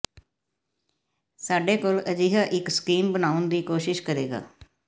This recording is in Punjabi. ਸਾਡੇ ਕੋਲ ਅਜਿਹਾ ਇੱਕ ਸਕੀਮ ਬਣਾਉਣ ਦੀ ਕੋਸ਼ਿਸ਼ ਕਰੇਗਾ